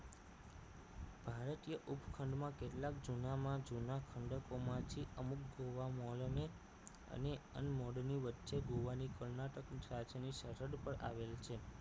ભારતીય ઉપખંડમાં કેટલાક જૂનામાં જૂના ખંડકોમાંથી અમુક ગોવા મોલને અને unmode ની વચ્ચે ગોવાની કર્ણાટકની સાંચીની સરહદ પર આવેલી છે